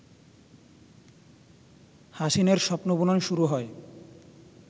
হাসিনের স্বপ্নবুনন শুরু হয়